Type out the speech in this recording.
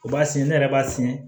U b'a siyɛn ne yɛrɛ b'a siyɛn